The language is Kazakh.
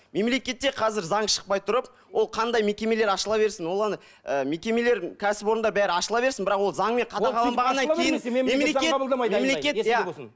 мемлекетте қазір заң шықпай тұрып ол қандай мекемелер ашыла берсін оған ы мекемелер кәсіпорындар бәрі ашыла берсін бірақ ол заңмен қадағаланбағаннан кейін мемлекет мемлекет иә